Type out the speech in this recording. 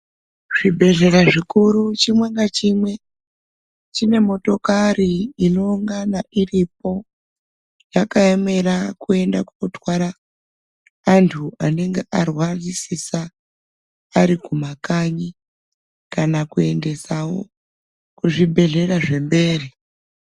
Zvibhedhlera zvikuru chimwe ngachimwe chine motokari inoongana iripo yakaemera kuenda kootwara anhu anenge arwarisisa ari kumakanyi kana kuendesawo kuzvibhedhlera zvemberi.